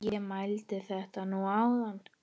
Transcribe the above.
Ég mældi þetta nú áðan.